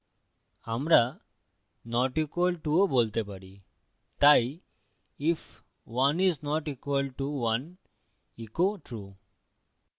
আমরা not equal to অসমান ও বলতে পারি তাই if 1 is not equal to 1 echo true